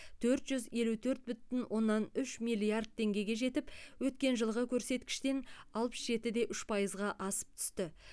төрт жүз елу төрт бүтін оннан үш миллиард теңгеге жетіп өткен жылғы көрсеткіштен алпыс жеті де үш пайызға асып түсті